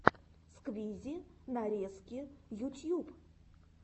сквизи нарезки ютьюб